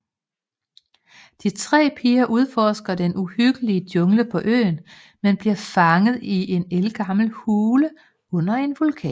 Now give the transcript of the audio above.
De tre piger udforsker den uhyggelige jungle på øen men bliver fanget i en ældgammel hule under en vulkan